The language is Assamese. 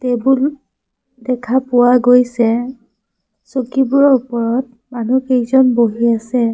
টেবুল দেখা পোৱা গৈছে চকীবোৰৰ ওপৰত মানুহ কেইজন বহি আছে।